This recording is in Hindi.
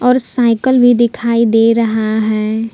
और साइकिल भी दिखाई दे रहा है।